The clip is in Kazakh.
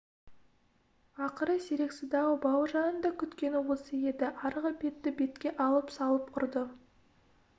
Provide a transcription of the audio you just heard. ақыры сирексіді-ау бауыржанның да күткені осы еді арғы бетті бетке алып салып ұрды